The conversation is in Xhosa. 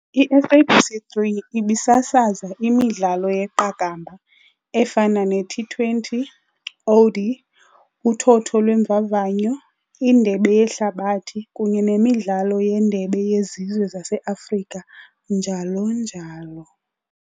i-SABC 3 ibisasaza imidlalo yeqakamba efana ne-T20, OD, uthotho lweeMvavanyo, iNdebe yeHlabathi kunye nemidlalo yeNdebe yeZizwe zaseAfrika, njl.njl.